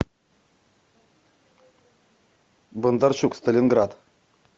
бондарчук сталинград